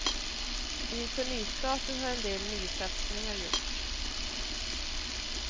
Inför nystarten har en del nysatsningar gjorts.